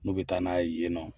N'u bɛ taa n'a ye yen nɔ.